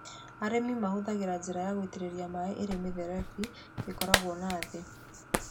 Arĩmi mahũthagĩra njĩra ya gũitĩrĩria maaĩ ĩrĩ mĩberethi ĩkĩragwo na thĩĩ.